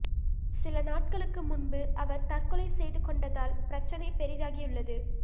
சில நாட்களுக்கு முன்பு அவர் தற்கொலை செய்து கொண்டதால் பிரச்சினை பெரிதாகியுள்ளது